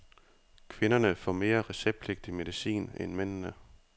Kvinderne får mere receptpligtig medicin end mændene.